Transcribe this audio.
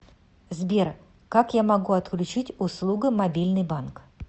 сбер как я могу отключить услугу мобильный банк